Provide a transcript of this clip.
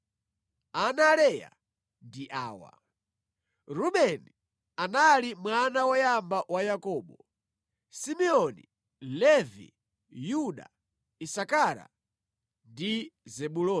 Ana a Leya ndi awa: Rubeni anali mwana woyamba wa Yakobo, Simeoni, Levi, Yuda, Isakara, ndi Zebuloni.